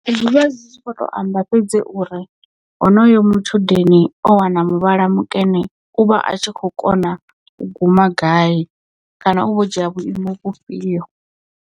Ndi ḓivha zwi tshi kho to amba fhedzi uri honoyo matshudeni o wana muvhala mukene u vha a tshi kho kona u guma gai kana u vha o dzhia vhuimo vhufhio.